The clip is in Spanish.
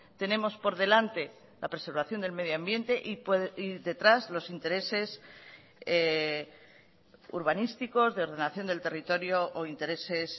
tenemos por delante la preservación del medio ambiente y detrás los intereses urbanísticos de ordenación del territorio o intereses